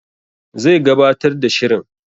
Zai gabatar da shirin